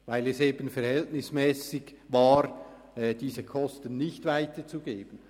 Dies, weil es eben verhältnismässig war, diese Kosten nicht weiterzugeben.